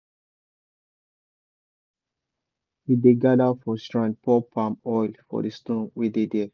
before we see first sun we dey gather for shrine pour palm oil for the stone wey dey there.